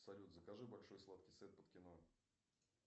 салют закажи большой сладкий сет под кино